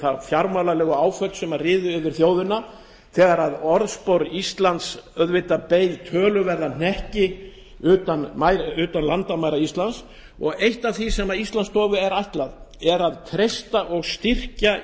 þau fjármálalegu áföll sem riðu yfir þjóðina þegar orðspor íslands beið auðvitað töluverðan hnekki utan landamæra íslands og eitt af því sem íslandsstofu er ætlað er að treysta og styrkja